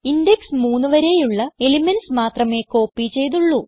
index 3 വരെയുള്ള elements മാത്രമേ copy ചെയ്തുള്ളൂ